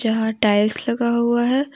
यहां टाइल्स लगा हुआ है।